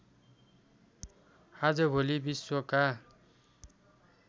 आजभोलि विश्वका